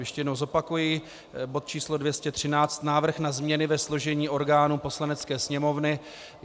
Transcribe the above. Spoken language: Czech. Ještě jednou zopakuji: bod č. 213 Návrh na změny ve složení orgánů Poslanecké sněmovny.